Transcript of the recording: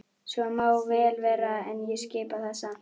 Svo má vel vera en ég skipa það samt.